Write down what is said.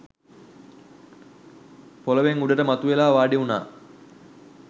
පොළොවෙන් උඩට මතුවෙලා වාඩිවුණා.